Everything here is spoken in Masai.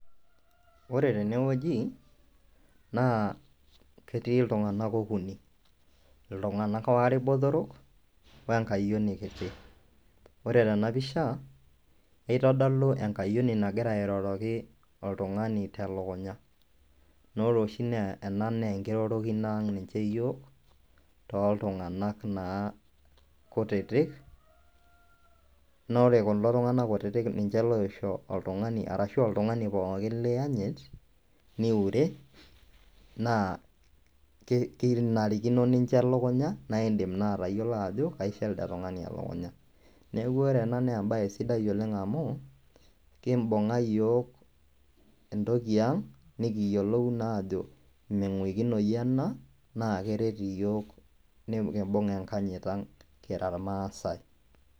Ore tenewueji naa ketii iltung'anak okuni iltung'anak waare botorok wenkayioni kiti ore tena pisha eitodolu enkayioni nagira airoroki oltung'ani telukunya naa ore oshi ena naa enkirorokino aang ninche iyiok toltung'anak kutitik naa ore kulo tung'anak kutitik ninche loisho oltung'ani pookin liiyanyit niure naa kenarikino nincho elukunya naa indiim naa atayiolo ajo kaisho elde tung'ani elukunya neeku ore ena naa embaye sidai oleng amu kimbung'a iyiook entoki aang nikiyiolou naajo ming'uikinoyu ena naa kere iyiook nikimbung enkanyit ang kira irmaasai .